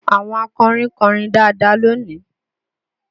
Àwọn akọrin kọrin dáadáa lónìí